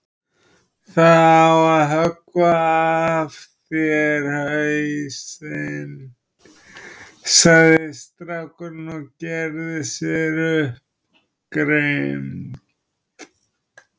Það á að höggva af þér hausinn, sagði strákurinn og gerði sér upp grimmd.